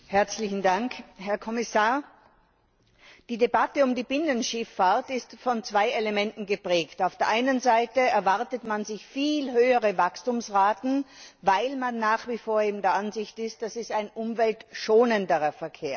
Frau Präsidentin! Herr Kommissar, die Debatte um die Binnenschifffahrt ist von zwei Elementen geprägt Auf der einen Seite erwartet man sich viel höhere Wachstumsraten, weil man nach wie vor der Ansicht ist, dass das ein umweltschonenderer Verkehr ist.